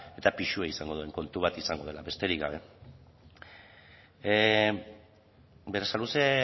eta pisua izango duen kontu bat izango dela besterik gabe berasaluze